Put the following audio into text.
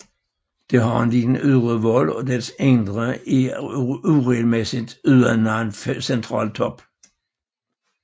Det har en lille ydre vold og dets indre er uregelmæssigt uden nogen central top